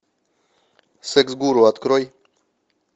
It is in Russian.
секс гуру открой